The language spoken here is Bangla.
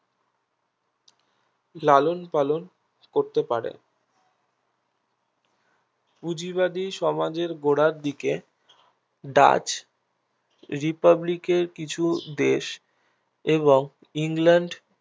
লালনপালন করতে পারে পুঁজিবাদী সমাজের গোড়ার দিকে ডাচ republic এর কিছু দেশ এবং ইংল্যান্ড